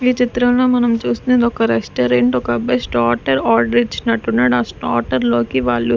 ఈ చిత్రంలో మనం చూస్తున్నాం ఇది ఒక రెస్టారెంట్ ఒక అబ్బాయి స్టార్టర్ ఆర్డర్ ఇచ్చినట్టున్నాడు ఆ స్టార్టర్ లోకి వాళ్ళు --